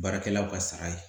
Baarakɛlaw ka sara ye